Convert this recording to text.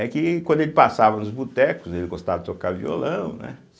É que quando ele passava nos botecos, ele gostava de tocar violão, né?